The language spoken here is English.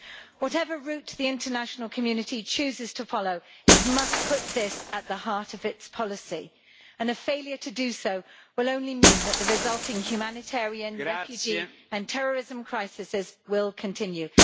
Whatever route the international community chooses to follow, it must put this at the heart of its policy, and a failure to do so will only mean that the resulting humanitarian refugee and terrorism crises will continue.